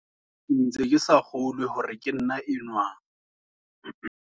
Ke ntse ke sa kgolwe hore ke nna enwa.